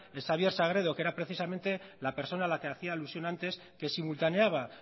es xabier sagredo que era precisamente la persona a la que hacía alusión antes que simultaneaba